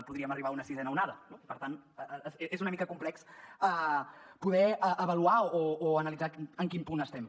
podríem arribar a una sisena onada no per tant és una mica complex poder avaluar o analitzar en quin punt estem